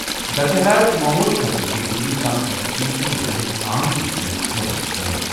درجہٕ حرارت معموٗل کھۄتہٕ کینٛہہ ڈگری کم گژھنہٕ کِنہِ چھِ لوٗکَن ہٕنٛز عام زِنٛدگی مُتٲثِر گٔمٕژ۔